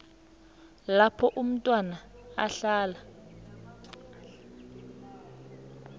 lapho umntwana ahlala